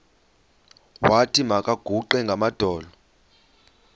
wathi makaguqe ngamadolo